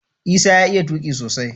Isah ya iya tuqi sosai